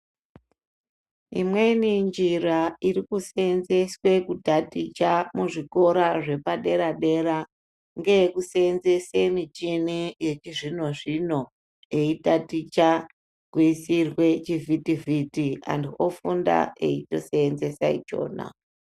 Imweni njira iri kusenzeswa kotaticha kuzvikora zvepadera dera ngeyekusenzesa michini yechizvino zvino eyitatichwa kuisirwa chivhiti vhiti, anhu ofunda eyitoshandisa ichona.